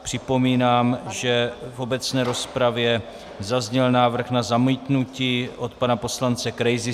Připomínám, že v obecné rozpravě zazněl návrh na zamítnutí od pana poslance Krejzy.